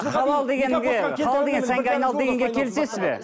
халал дегенге халал деген сәнге айналды дегенге келісесіз бе